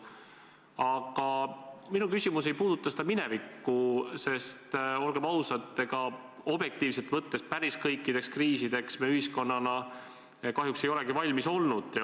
Aga minu küsimus ei puuduta minevikku, sest olgem ausad, ega objektiivselt võttes päris kõikideks kriisideks me ühiskonnana kahjuks ei olegi valmis olnud.